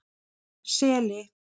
Seli